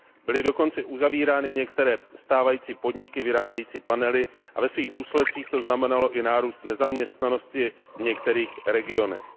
Byly dokonce uzavírány i některé stávající podniky vyrábějící panely a ve svých důsledcích to znamenalo i nárůst nezaměstnanosti v některých regionech.